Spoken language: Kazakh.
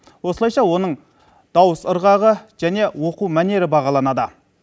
осылайша оның дауыс ырғағы және оқу мәнері бағаланады